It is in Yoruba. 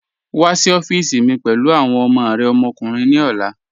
Wa sí ọ̀fíìsí mi pẹ̀lú awọn ọmọ rẹ ọmọkùnrin ni ọlá